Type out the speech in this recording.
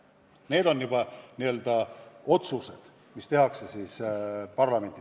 Need on juba otsused, mis tehakse parlamendis.